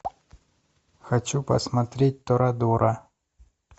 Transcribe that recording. хочу посмотреть торадора